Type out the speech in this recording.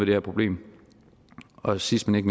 her problem og sidst men